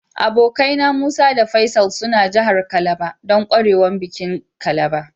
Abokane na, Musa da Faisal suna jihar Calabar dan kwarewan bikin calabar.